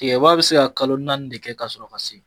Tigɛba bi se ka kalo naani de kɛ ka sɔrɔ a ma se.